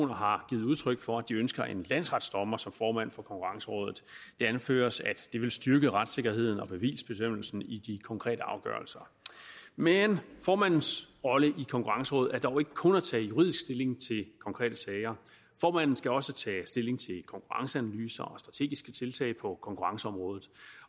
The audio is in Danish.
har givet udtryk for at de ønsker en landsretsdommer som formand for konkurrencerådet det anføres at det vil styrke retssikkerheden og bevisbestemmelsen i de konkrete afgørelser men formandens rolle i konkurrencerådet er dog ikke kun at tage juridisk stilling til konkrete sager formanden skal også tage stilling til konkurrenceanalyser og strategiske tiltag på konkurrenceområdet